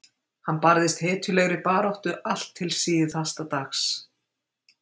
Hann barðist hetjulegri baráttu allt til síðasta dags.